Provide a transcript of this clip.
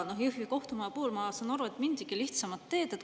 Jõhvi kohtumaja puhul, ma saan aru, mindigi lihtsamat teed.